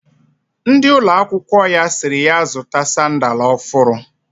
Ndi ulo akwukwo ya siri ya zuta sandal ofuru